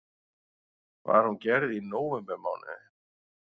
Var hún gerð í nóvembermánuði